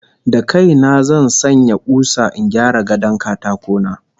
Da kai na zan sanya kusa in gyara gadon katako na